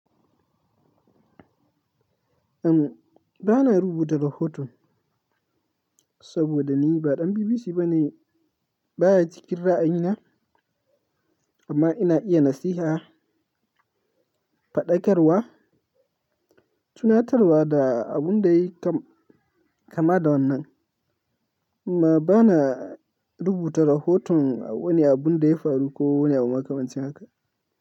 Em, ba na rubuta rahoto saboda ni ba ɗan BBC bane, ba ya cikin ra'ayina. Amma ina iya nasiha faɗakarwa, tunatarwa da abun da yayi kam, kama da wannan. Amma ba na rubuta rahoton wani abun da ya faru ko wani abu makamancin haka.